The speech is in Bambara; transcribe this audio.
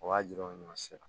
O b'a jira u ɲɔn sera